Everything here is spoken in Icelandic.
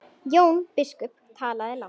Jón biskup talaði lágt.